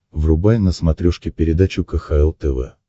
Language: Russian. врубай на смотрешке передачу кхл тв